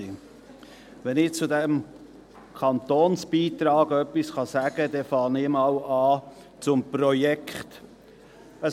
der BaK. Wenn ich zu diesem Kantonsbeitrag etwas sagen kann, fange ich mit dem Projekt an.